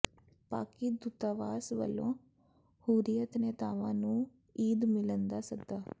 ਪਾਕਿ ਦੂਤਾਵਾਸ ਵੱਲੋਂ ਹੁਰੀਅਤ ਨੇਤਾਵਾਂ ਨੂੰ ਈਦ ਮਿਲਨ ਦਾ ਸੱਦਾ